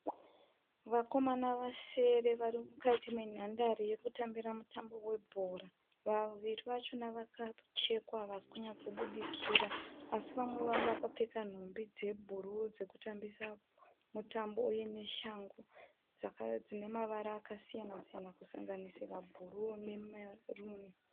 Vakomana vasere varimukati menhandere yekutambita mutambo webhora. Vaviri vachona vakachekwa havasikunyatsokubudikira asi vamwe vavo vakapfeka hembe dzebhuruu dzekutambisa mutambo.